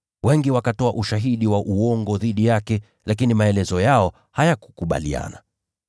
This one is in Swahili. Wengi walitoa ushahidi wa uongo dhidi yake, lakini maelezo yao hayakukubaliana.